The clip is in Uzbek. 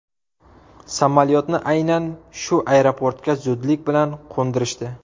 Samolyotni aynan shu aeroportga zudlik bilan qo‘ndirishdi.